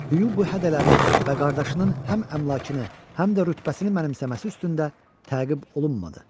Hu bu hədələri və qardaşının həm əmlakını, həm də rütbəsini mənimsəməsi üstündə təqib olunmadı.